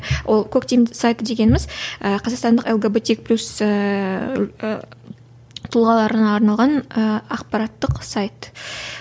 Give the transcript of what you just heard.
ы ол коктим сайты дегеніміз і қазақстандық лгбтик плюс ііі тұлғаларына арналған ііі ақпараттық сайт